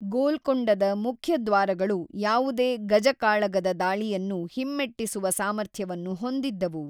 ಗೋಲ್ಕೊಂಡದ ಮುಖ್ಯ ದ್ವಾರಗಳು ಯಾವುದೇ ಗಜಕಾಳಗದ ದಾಳಿಯನ್ನು ಹಿಮ್ಮೆಟ್ಟಿಸುವ ಸಾಮರ್ಥ್ಯವನ್ನು ಹೊಂದಿದ್ದವು.